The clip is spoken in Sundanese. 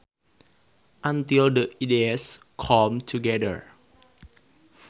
until the ideas come together